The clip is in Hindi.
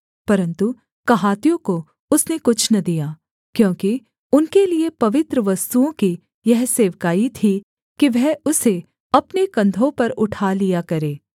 परन्तु कहातियों को उसने कुछ न दिया क्योंकि उनके लिये पवित्र वस्तुओं की यह सेवकाई थी कि वह उसे अपने कंधों पर उठा लिया करें